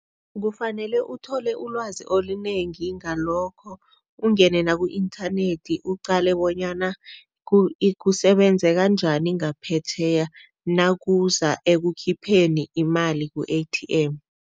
Kufanele uthole ulwazi olunengi ngalokho ungene naku-inthanethi uqale bonyana kusebenzeka njani ngaphetjheya nakuza ekukhipheni imali ku-A_T_M.